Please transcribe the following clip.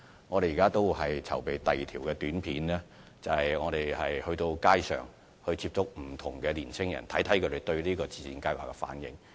我們正在籌備拍攝第二輯短片，藉此在街上接觸不同的年青人，希望知道他們對自薦計劃的反應。